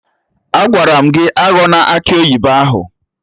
Agwara m gị aghọna akị oyibo ahụ!